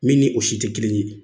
Min ni o si te kelen ye.